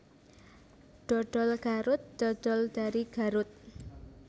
Dodol Garut dodol dari Garut